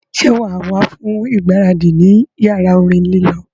Sọ ma wá fún ìgbáradì ní yàrá orin lílọ